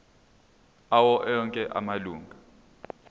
awo onke amalunga